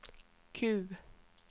Q